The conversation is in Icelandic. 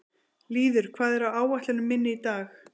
Lýður, hvað er á áætluninni minni í dag?